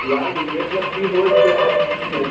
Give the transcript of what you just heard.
ಯಾವ್ದು A plus B whole square ಆ .